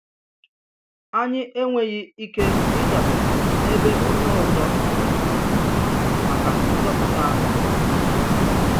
Ànyì enweghí ike ị̀dabere n’èbè ònyè òzò nọ maka nzọ̀pụ̀tà anyị.